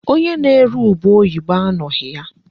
Onye na-ere ube oyibo anọghị ya.